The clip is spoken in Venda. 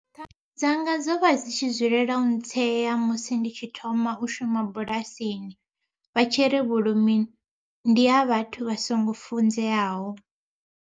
Thanga dzanga dzo vha dzi tshi dzulela u ntsea musi ndi tshi thoma u shuma bulasini vha tshi ri vhulimi ndi ha vhathu vha songo funzeaho.